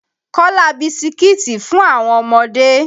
Kọ́lá bisikiti fún àwọn ọmọdé.